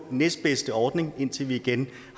næstbedste ordning indtil vi igen